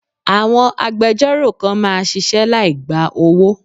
Àwọn agbejọ́rò kan máa ṣisẹ́ láì gba owó.